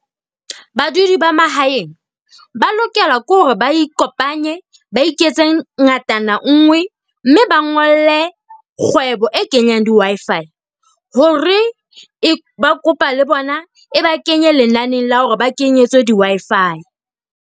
Badudi ba mahaeng ba lokela ke hore ba ikopanye ba iketse ngatananngwe. Mme ba ngolle kgwebo e kenyang di Wi-Fi hore e ba kopa le bona, e ba kenye lenaneng la hore ba kenyetswe di-Wi-Fi.